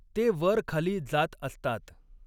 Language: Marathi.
ते वर खाली जात असतात.